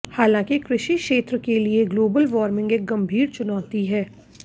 हालांकि कृषि क्षेत्र के लिए ग्लोबल वार्मिंग एक गंभीर चुनौती है